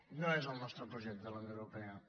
no és el nostre projecte la unió europea